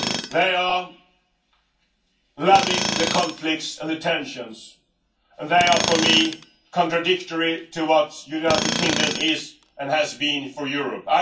They are loving the conflict and the tensions, and they are, for me, contradictory to what the United Kingdom is, and has been, for Europe.